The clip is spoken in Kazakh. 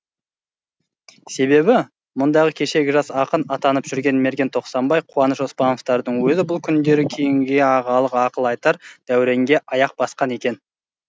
себебі мұндағы кешегі жас ақын атанып жүрген мерген тоқсанбай қуаныш оспановтардың өзі бұл күндері кейінгіге ағалық ақыл айтар дәуренге аяқ басқан екен